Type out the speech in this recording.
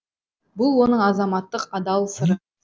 бұл оның азаматтық адал сыры